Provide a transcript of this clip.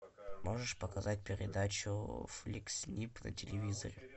можешь показать передачу фликс снип на телевизоре